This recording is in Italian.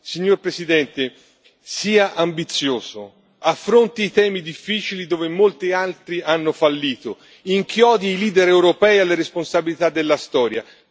Signor Presidente, sia ambizioso affronti i temi difficili dove molti altri hanno fallito, inchiodi i leader europei alle responsabilità della Storia.